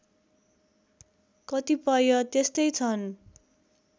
कतिपय त्यस्तै छन्